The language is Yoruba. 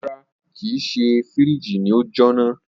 Rara, kii ṣe firiji ni o jona.